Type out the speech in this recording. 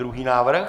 Druhý návrh?